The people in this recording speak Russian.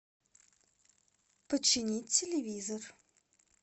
починить телевизор